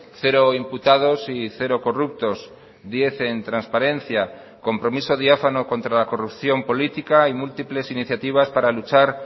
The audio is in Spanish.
cero imputados y cero corruptos diez en transparencia compromiso diáfano contra la corrupción política y múltiples iniciativas para luchar